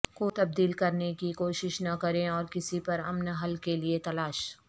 کو تبدیل کرنے کی کوشش نہ کریں اور کسی پر امن حل کے لئے تلاش